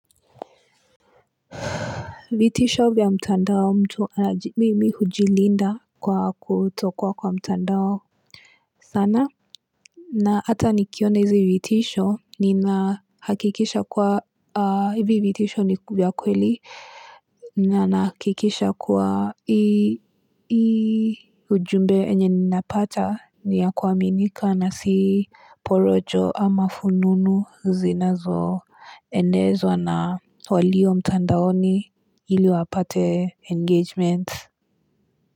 Vitisho via mtandao mtu mimi hujilinda kwa kutokua kwa mtandao sana. Na ata nikiona hizi vitisho, nina hakikisha kuwa hivi vitisho ni vya kweli Nanahakikisha kuwa hii ujumbe yenye ninapata ni ya kuaminika na si porojo ama fununu zinazo enezwa na walio mtandaoni ili wapate engagement.